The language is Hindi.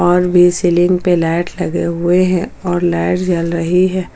और वे सीलिंग पे लाइट लगे हुए हैं और लाइट जल रही है।